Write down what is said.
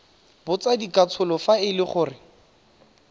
botsadikatsholo fa e le gore